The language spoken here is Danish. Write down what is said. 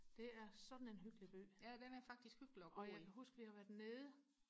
det er sådan en hyggelig by og jeg kan huske vi har været nede